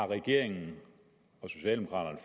regeringen og socialdemokraterne